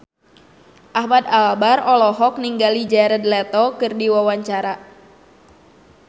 Ahmad Albar olohok ningali Jared Leto keur diwawancara